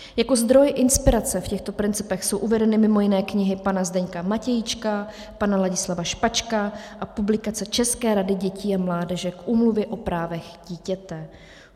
Jako zdroj inspirace v těchto principech jsou uvedeny mimo jiné knihy pana Zdeňka Matějčka, pana Ladislava Špačka a publikace České rady dětí a mládeže k Úmluvě o právech dítěte.